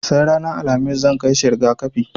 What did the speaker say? Sai ranar Alhamis zan kai shi riga-kafi.